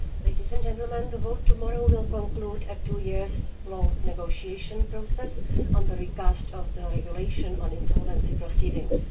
Mr President, the vote tomorrow will conclude a two year long negotiation process on the recast of the Regulation on insolvency proceedings.